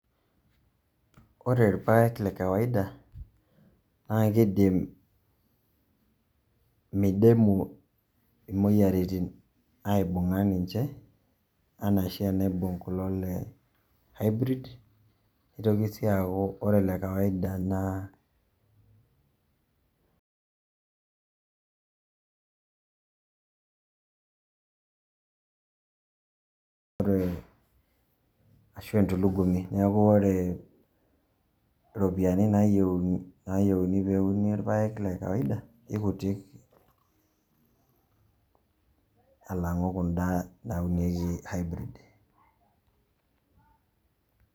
Ore ipaek le kawaida naake idim midimu imoyiaritin aibung'a ninje ena oshi neibung' kulo le hybrid. Nitoki sii aaaku ore le kawaida naa ashu entulugumi. Neeku ore ropiani nayeuni eneuni irpaek le kawaida kekutik alang'u kunda naunieki hybrid.